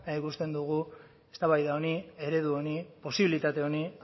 baina ikusten dugu eztabaida honi eredu honi posibilitate honi